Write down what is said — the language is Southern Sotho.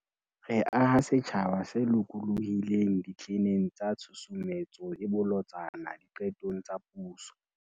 Re aha setjhaba se lokolohileng ditleneng tsa Tshusumetso e Bolotsana Diqetong tsa Puso